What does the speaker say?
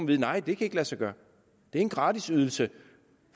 vide nej det kan ikke lade sig gøre det er en gratis ydelse